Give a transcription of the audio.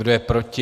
Kdo je proti?